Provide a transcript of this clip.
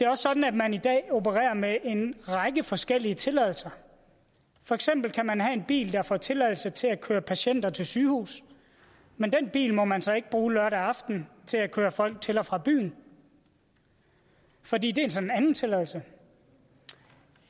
også sådan at man i dag opererer med en række forskellige tilladelser for eksempel kan man have en bil der får tilladelse til at køre patienter til sygehuset men den bil må man så ikke bruge lørdag aften til at køre folk til og fra byen fordi det så er en anden tilladelse